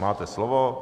Máte slovo.